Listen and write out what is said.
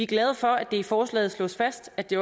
glade for at det i forslaget slås fast at det